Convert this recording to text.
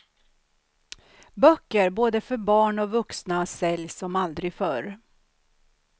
Böcker, både för barn och vuxna säljs som aldrig förr.